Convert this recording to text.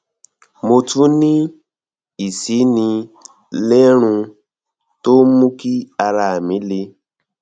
mo tún ní ìsínilérùn tó ń mú kí ara mi le